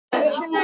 Minn pabbi.